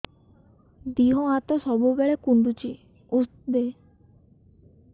ଦିହ ହାତ ସବୁବେଳେ କୁଣ୍ଡୁଚି ଉଷ୍ଧ ଦେ